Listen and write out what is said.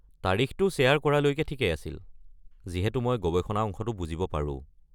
তাৰিখটো শ্বেয়াৰ কৰালৈকে ঠিকেই আছিল, যিহেতু মই গৱেষণা অংশটো বুজিব পাৰো।